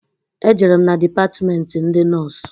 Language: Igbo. E jerem na dipatmenti ndị nọs.